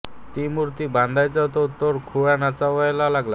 ती मूर्ती बघतांच तो तर खुळा नाचावया लागला